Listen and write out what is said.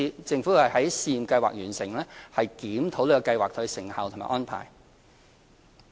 政府會在試驗計劃完成後檢視計劃的成效和安排。